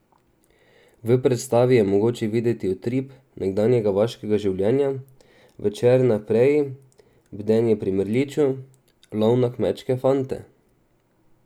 V predstavi je mogoče videti utrip nekdanjega vaškega življenja, večer na preji, bdenje pri mrliču, lov na kmečke fante ...